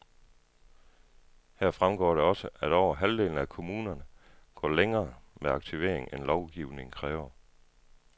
Her fremgår det også, at over halvdelen af kommunerne, går længere med aktivering, end lovgivningen kræver.